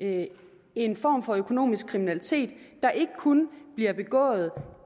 en en form for økonomisk kriminalitet der ikke kun bliver begået